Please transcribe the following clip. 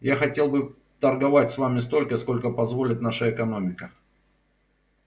я хотел бы торговать с вами столько сколько позволит наша экономика